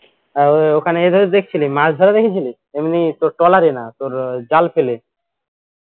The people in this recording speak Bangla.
আহ ওখানে গিয়ে ধরো দেখছিলে মাছধরা দেখেছিলি এমনি তোর trawler এ না তোর জাল ফেলে